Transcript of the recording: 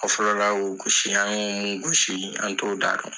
O fɔlɔ la gosi an y'u mun gosi an t'o da dɔn.